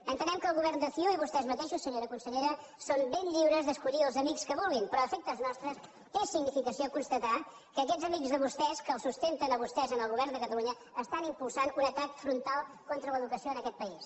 entenem que el govern de ciu i vostès mateixos senyora consellera són ben lliures d’escollir els amics que vulguin però a efectes nostres té significació constatar que aquests amics de vostès que els sustenten a vostès en el govern de catalunya impulsen un atac frontal contra l’educació en aquest país